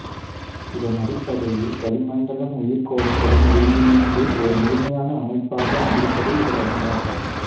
இதன் அடிப்படையில் வளிமண்டலம் உயிர்கோளத்துடன் ஒருங்கிணைந்து ஒரு முழுமையான அமைப்பாக இருப்பதை இவர் அறிந்தார்